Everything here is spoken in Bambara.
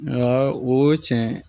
Nka o tiɲɛ